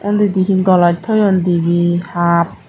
undihin goloch toyon dibe hap.